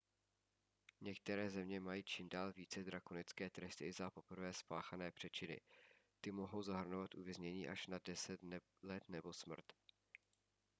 některé země mají čím dál více drakonické tresty i za poprvé spáchané přečiny ty mohou zahrnovat uvěznění až na 10 let nebo smrt